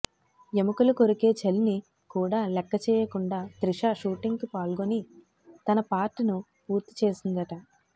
ఎముకలు కొరికే చలిని కూడా లెక్క చేయకుండా త్రిష షూటింగ్ కు పాల్గొని తన పార్ట్ ను పూర్తి చేసిందట